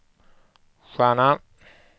stjärna